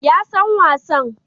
Ya san wasan